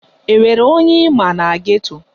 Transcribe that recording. Enwere onye ịma na geto?